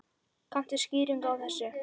Kanntu skýringu á þessu?